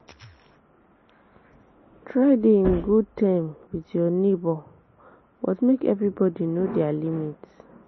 Try de in good term with your neighbour but make everybody know their limit